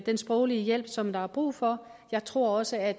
den sproglige hjælp som der er brug for jeg tror også at